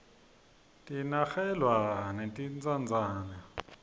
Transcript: kinakerglwa netintsandzane